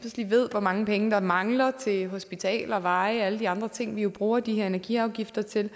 ved hvor mange penge der mangler til hospitaler veje og alle de andre ting vi jo bruger de her energiafgifter til